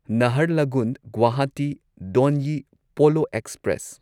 Naharlagun Guwahati Donyi Polo express